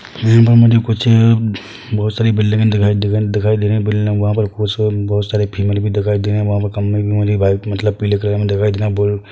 इन्हे पर मुझे कुछः बहुत सारी बिल्डिंगे दिख-दिखा-दिखाई दे रही है बिल्डिंग में वहाँ पर कुछ बहुत सारे फीमेल भी दिखाई दे रही है वहाँ पर खम्बे भी मुझे वाइट मतलब पीले कलर में दिखाई दे रहे है बहुत।